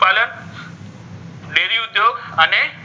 અને,